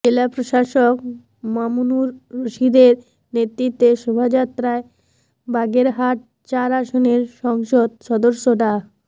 জেলা প্রশাসক মামুনুর রশীদের নেতৃত্বে শোভাযাত্রায় বাগেরহাট চার আসনের সংসদ সদস্য ডা